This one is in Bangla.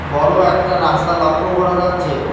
বড় একটা রাস্তা লক্ষ্য করা যাচ্ছে।